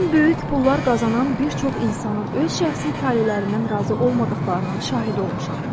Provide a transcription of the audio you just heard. Mən böyük pullar qazanan bir çox insanın öz şəxsi talelərindən razı olmadıqlarının şahidi olmuşam.